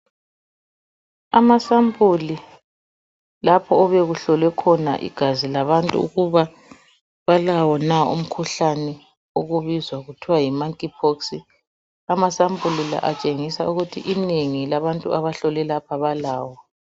Ama sampuli lapho obekuhlolwe khona igazi labantu ukuba balawo na umkhuhlane okubizwa kuthwa yi monkey pox amasampuli la atshengisa ukuthi inengi labantu ahlahlole lapha balawo.